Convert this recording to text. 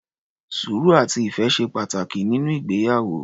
Sùúrù, àti ìfẹ́ ṣe pàtàkì nínú ìgbéyàwó.